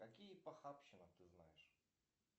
какие похабщины ты знаешь